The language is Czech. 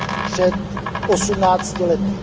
před osmnácti lety.